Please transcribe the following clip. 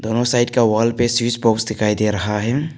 दोनों साइड का वॉल पे स्विच बॉक्स दिखाई दे रहा है।